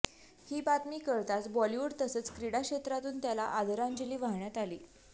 ही बातमी कळताच बॉलिवूड तसंच क्रीडा क्षेत्रातून त्याला आदरांजली वाहण्यात आली